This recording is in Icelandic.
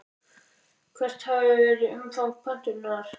Hvert hafi verið umfang pöntunar?